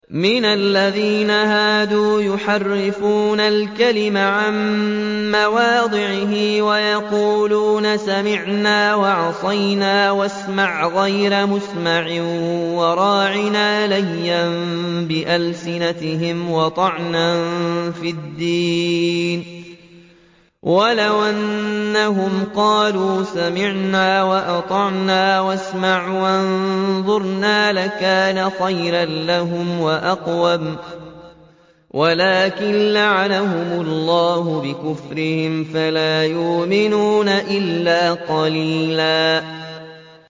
مِّنَ الَّذِينَ هَادُوا يُحَرِّفُونَ الْكَلِمَ عَن مَّوَاضِعِهِ وَيَقُولُونَ سَمِعْنَا وَعَصَيْنَا وَاسْمَعْ غَيْرَ مُسْمَعٍ وَرَاعِنَا لَيًّا بِأَلْسِنَتِهِمْ وَطَعْنًا فِي الدِّينِ ۚ وَلَوْ أَنَّهُمْ قَالُوا سَمِعْنَا وَأَطَعْنَا وَاسْمَعْ وَانظُرْنَا لَكَانَ خَيْرًا لَّهُمْ وَأَقْوَمَ وَلَٰكِن لَّعَنَهُمُ اللَّهُ بِكُفْرِهِمْ فَلَا يُؤْمِنُونَ إِلَّا قَلِيلًا